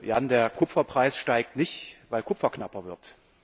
Jan, der Kupferpreis steigt nicht, weil Kupfer knapper wird.